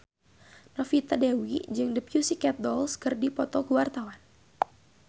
Novita Dewi jeung The Pussycat Dolls keur dipoto ku wartawan